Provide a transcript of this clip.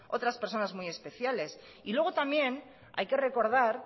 otras personas muy especiales y luego también hay que recordar